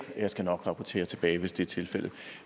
jeg skal nok rapportere tilbage hvis det er tilfældet